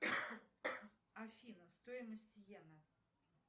афина стоимость йена